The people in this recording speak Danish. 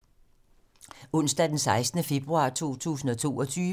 Onsdag d. 16. februar 2022